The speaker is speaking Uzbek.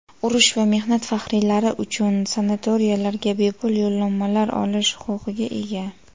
urush va mehnat faxriylari uchun sanatoriylariga bepul yo‘llanmalar olish huquqiga ega.